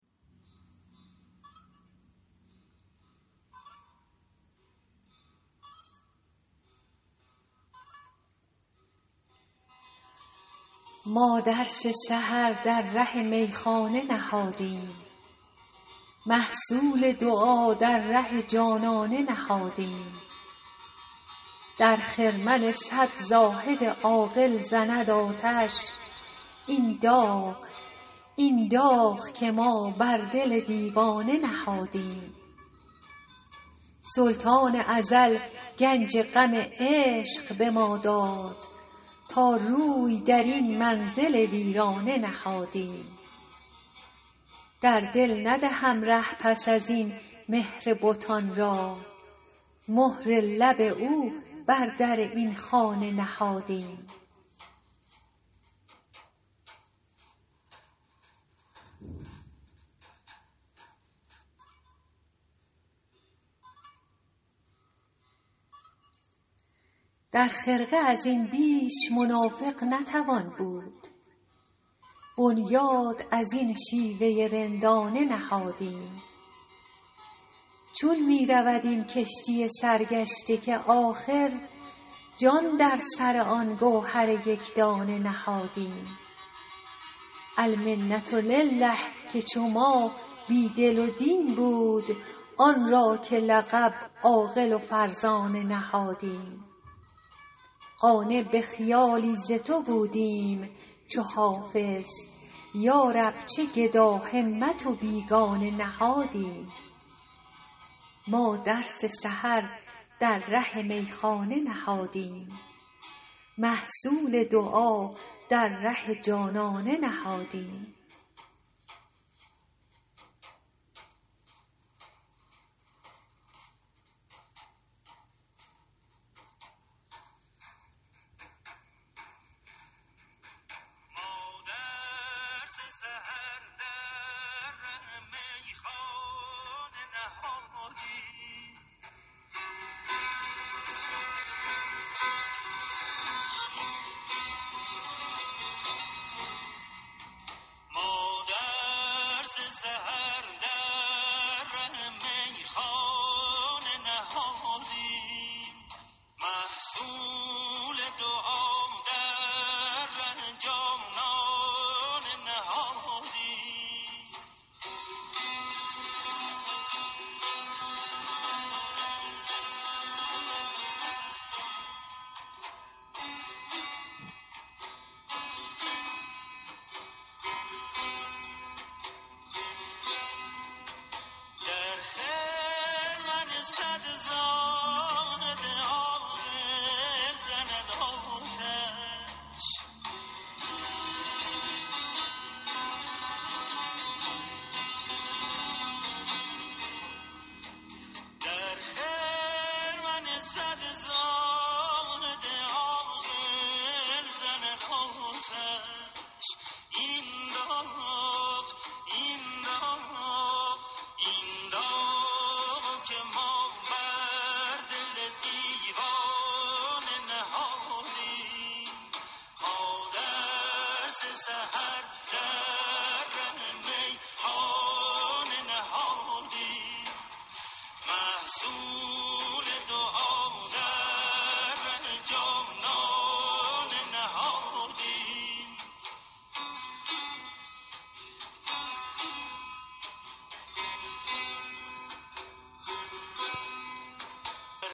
ما درس سحر در ره میخانه نهادیم محصول دعا در ره جانانه نهادیم در خرمن صد زاهد عاقل زند آتش این داغ که ما بر دل دیوانه نهادیم سلطان ازل گنج غم عشق به ما داد تا روی در این منزل ویرانه نهادیم در دل ندهم ره پس از این مهر بتان را مهر لب او بر در این خانه نهادیم در خرقه از این بیش منافق نتوان بود بنیاد از این شیوه رندانه نهادیم چون می رود این کشتی سرگشته که آخر جان در سر آن گوهر یک دانه نهادیم المنة لله که چو ما بی دل و دین بود آن را که لقب عاقل و فرزانه نهادیم قانع به خیالی ز تو بودیم چو حافظ یا رب چه گداهمت و بیگانه نهادیم